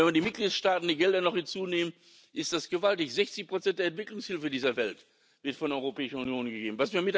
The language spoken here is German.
Wenn man die Gelder der Mitgliedstaaten noch hinzunimmt, ist das gewaltig 60 der Entwicklungshilfe dieser Welt wird von der Europäischen Union gegeben.